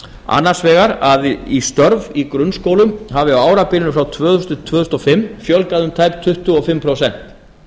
annars vegar að í störf í grunnskólum hafi á árabilinu frá tvö þúsund til tvö þúsund og fimm fjölgað um tæp tuttugu og fimm prósent